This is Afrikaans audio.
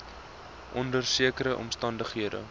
onder sekere omstandighede